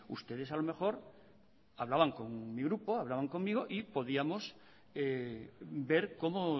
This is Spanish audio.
ustedes a lo mejor hablaban con mi grupo hablaban conmigo y podíamos ver cómo